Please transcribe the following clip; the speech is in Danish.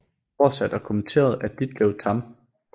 Oversat og kommenteret af Ditlev Tamm